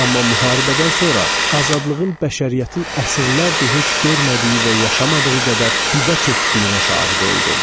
Amma müharibədən sonra azadlığın bəşəriyyətin əsrlərdir heç görmədiyi və yaşamadığı qədər dibə çöktüyünə şahid oldum.